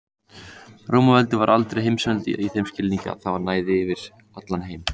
Rómaveldi var aldrei heimsveldi í þeim skilningi að það næði yfir heim allan.